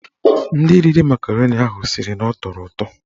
Ndị riri makaroni ahụ sịrị na ọ tọrọ ụtọ.